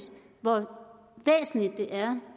hvor væsentligt det er